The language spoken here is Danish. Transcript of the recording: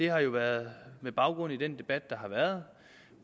har været med baggrund i den debat der har været